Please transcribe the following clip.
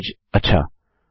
अच्छा